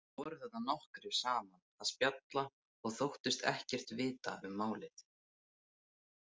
Þið voruð þarna nokkrir saman að spjalla og þóttust ekkert vita um málið.